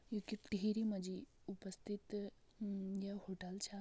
यु की टिहरी मा जी उपस्थित म-ये होटल छा।